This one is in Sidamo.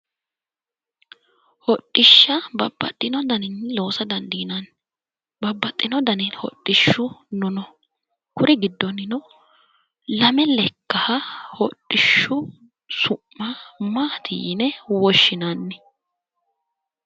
hodhishsha babbaxinno daninni loosa dandiinanni babbaxxinno danu hodhishshino no kuri giddonnino lame lekkaha hodhishshu su'ma maati yine woshshinanni?